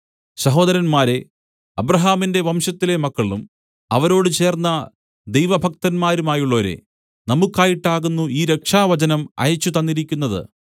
സഹോദരന്മാരേ അബ്രാഹാമിന്റെ വംശത്തിലെ മക്കളും അവരോട് ചേർന്ന ദൈവഭക്തന്മാരുമായുള്ളോരേ നമുക്കായിട്ടാകുന്നു ഈ രക്ഷാവചനം അയച്ചുതന്നിരിക്കുന്നത്